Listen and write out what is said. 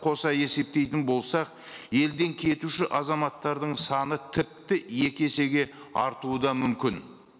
қоса есептейтін болсақ елден кетуші азаматтардың саны тіпті екі есеге артуы да мүмкін